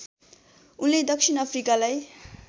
उनले दक्षिण अफ्रिकालाई